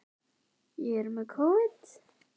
Magnús Hlynur: Og, oddvitinn brosir breytt?